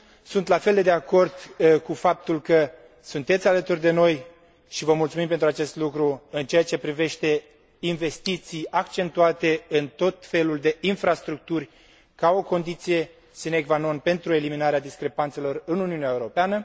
Sunt la fel de acord cu faptul că sunteți alături de noi și vă mulțumim pentru acest lucru în ceea ce privește investiții accentuate în tot felul de infrastructuri, ca o condiție sine qua non pentru eliminarea discrepanțelor în Uniunea Europeană.